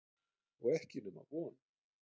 Og ekki nema von!